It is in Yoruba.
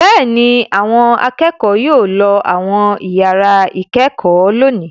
Bẹ́ẹ̀ ni, àwọn akẹ́kọ̀ọ́ yóò lọ àwọn ìyàrá-ìkẹ́kọ̀ọ́ lónìí.